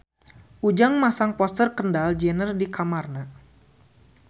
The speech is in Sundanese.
Ujang masang poster Kendall Jenner di kamarna